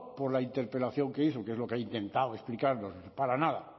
por la interpelación que hizo que es lo que ha intentado explicarnos para nada